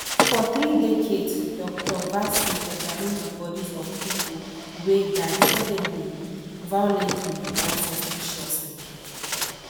for three decades dr vasu examine di bodies of pipo wey die suddenly violently or suspiciously